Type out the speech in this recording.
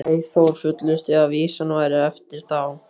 Eyþór fullyrti að vísan væri eftir þá